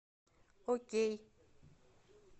окей